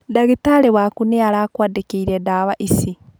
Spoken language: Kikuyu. Ndagitarĩ waku nĩ arakwandĩkĩire ndawa ici.